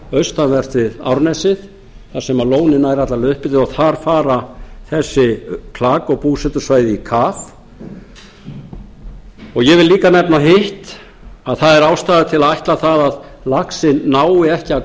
austanvert árnesið þar sem lónið nær alla leið upp eftir og þar fara þessi klak og búsetusvæði í kaf og ég vil líka nefna hitt að það er ástæða til að ætla að laxinn nái ekki að